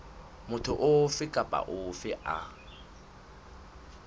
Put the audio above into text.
motho ofe kapa ofe a